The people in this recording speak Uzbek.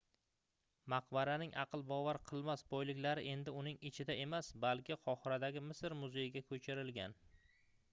maqbaraning aql bovar qilmas boyliklari endi uning ichida emas balki qohiradagi misr muzeyiga koʻchirilgan